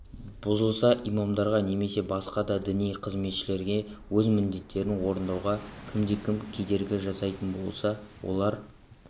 бұзылса имамдарға немесе басқа да діни қызметшілерге өз міндеттерін орындауға кімде-кім кедергі жасайтын болса олар